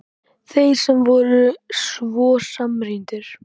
Þeir sem voru svo samrýndir!